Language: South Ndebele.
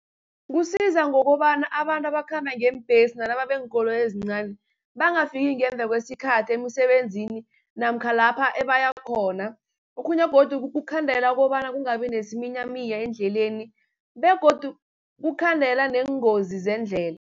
Kusiza ngokobana abantu abakhamba ngeembhesi nalaba beenkoloyi ezincani, bangafiki ngemva kwesikhathi emisebenzini, namkha lapha ebaya khona. Okhunye godu kukukhandela kobana kungabi nesiminyaminya eendleleni, begodu kukhandela neengozi zendlela.